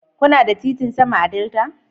Kuna da titin sama a Delta?